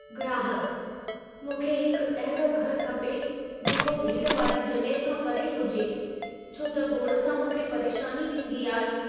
ग्राहकः "मूंखे हिकु अहिड़ो घर खपे जेको भीड़ वारी जॻह खां परे हुजे, छो त गोड़ सां मूंखे परेशानी थींदी आहे।"